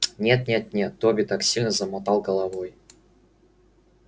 нет нет нет добби так сильно замотал головой